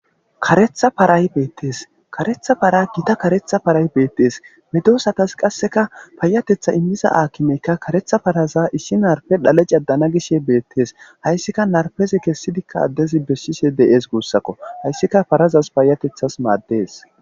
karetha paray beettees karetha para gita karetha paray beettees medosatas qasseka paayatetha immiza aakimeykka karetha paraza isshin narpe dhale cadana gishshe beettes hayssika narpezi kessidikka addezi beshshishe de'ees guussakko hayssika parazas paayatethas maaddes